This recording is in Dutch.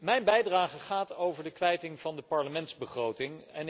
Mijn bijdrage gaat over de kwijting van de parlementsbegroting.